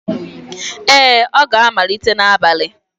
Ee, ọ ga-amalite n'abalị